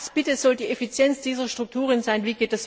Was bitte soll die Effizienz dieser Strukturen sein?